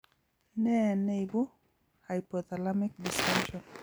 Ne neibu hypothalamic dysfunction?